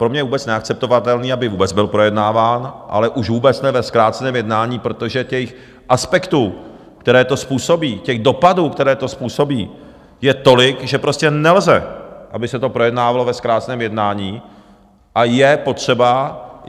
Pro mě je vůbec neakceptovatelné, aby vůbec byl projednáván, ale už vůbec ne ve zkráceném jednání, protože těch aspektů, které to způsobí, těch dopadů, které to způsobí, je tolik, že prostě nelze, aby se to projednávalo ve zkráceném jednání, a je potřeba...